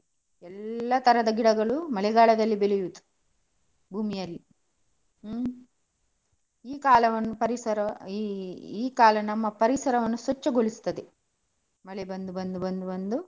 ಎಲ್ಲಾ ತರದ ಗಿಡಗಳು ಮಳೆಗಾಲದಲ್ಲಿ ಬೆಳೆಯುದು ಭೂಮಿಯಲ್ಲಿ. ಹ್ಮ್ ಈ ಕಾಲವನ್ನು ಪರಿಸರ ಈ ಈ ಕಾಲ ನಮ್ಮ ಪರಿಸರವನ್ನು ಸ್ವಚ್ಛಗೊಳಿಸುತ್ತದೆ, ಮಳೆ ಬಂದು ಬಂದು ಬಂದು ಬಂದು.